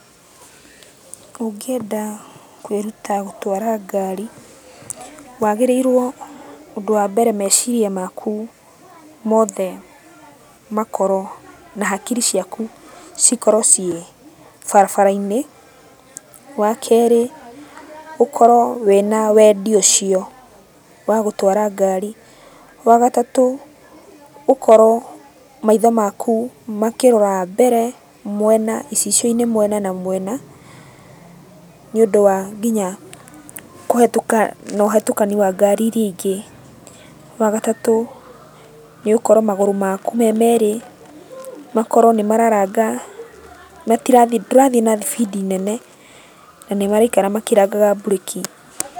Ũngĩenda kwĩruta gũtwara ngari, wagĩrĩirũo ũndũ wa mbere meciria maku mothe makorwo, na hakiri ciaku cikorwo ciĩ barabara-inĩ. Wakerĩ ũkorwo wĩna wendi ũcio wa gũtwara ngari. Wagatatũ ũkorwo maitho maku makĩrora mbere, mwena icicio-inĩ mwena na mwena, nĩũndũ wa kinya kũhĩtũka na ũhĩtũkani wa ngari iria ingĩ. Wagatatũ nĩ ũkorwo magũrũ maku me merĩ, makorwo nĩmararanga matirathiĩ ndũrathiĩ na thibindi nene, na nĩmaraikara makĩrangaga mburĩki.